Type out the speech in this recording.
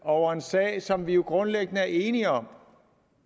over en sag som vi jo grundlæggende er enige om